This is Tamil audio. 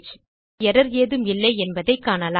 இப்போது எர்ரர் ஏதும் இல்லை என்பதைக் காணலாம்